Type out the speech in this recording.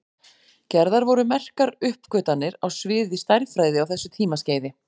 Gerðar voru merkar uppgötvanir á sviði stærðfræði á þessu tímaskeiði.